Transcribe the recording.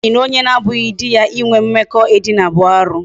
Nwaanyị na onye abụghị di ya inwe mmekọ edina bụ arụ.